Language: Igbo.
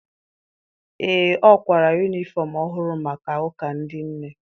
Ee, ọ kwara yunifọm ọhụrụ maka ụka ndị nne.